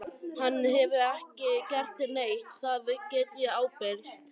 Hann hefur ekki gert neitt, það get ég ábyrgst.